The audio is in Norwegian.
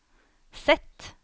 Z